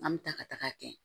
An bɛ taa ka taga kɛ